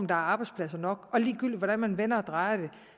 der er arbejdspladser nok og ligegyldigt hvordan man vender og drejer